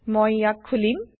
মই160 ইয়াক খুলিম